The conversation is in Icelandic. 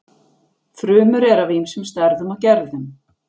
Frumur eru af ýmsum stærðum og gerðum.